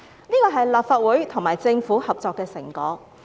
這是立法會和政府合作的成果。